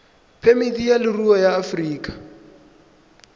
phemiti ya leruri ya aforika